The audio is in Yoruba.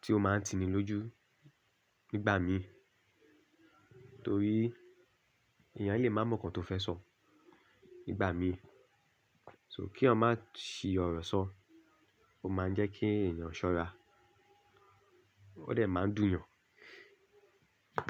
tí ó máa ń tini lójú nígbà mìí torí èèyàn lè má mọ̀ ǹkan tó fẹ́ sọ nígbà mìí. So kí eyan má sì ọ̀rọ̀ sọ, ó máa ń jẹ́ kí ẹ̀yàn ṣọ́ra, ó dè máa dùn yàn.